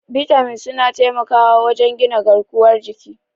Bitamin suna taimakawa wajen gina garkuwar jiki.